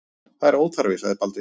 Það er óþarfi, sagði Baldvin.